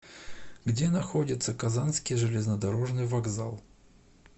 где находится казанский железнодорожный вокзал